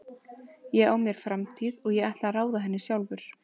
Ég á mér framtíð og ég ætla að ráða henni sjálfur.